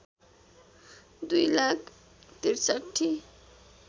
दुई लाख ६३